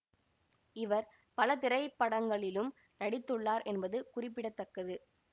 இவர் பல திரைப்படங்களிலும் நடித்துள்ளார் என்பது குறிப்பிட தக்கது